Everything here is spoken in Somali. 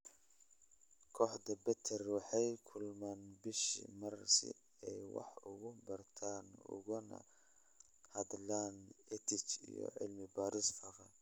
Kooxda BETER waxay kulmaan bishiiba mar si ay wax uga bartaan ugana hadlaan EdTech iyo cilmi baarista faafa.